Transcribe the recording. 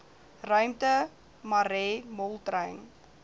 ruimte marais moltrein